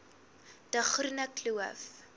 de groene kloof